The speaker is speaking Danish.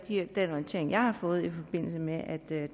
den orientering jeg har fået i forbindelse med at